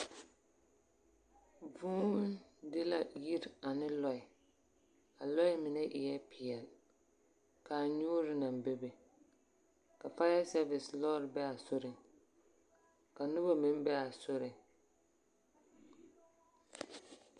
Vūū di la yiri ane lɔɛ, a lɔɛ mine eɛ peɛl, ka a nyoore naŋ be be. Faaya sɛɛvese lɔɔre bee a soriŋ. Ka noba meŋ be a soriŋ.